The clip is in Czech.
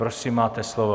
Prosím, máte slovo.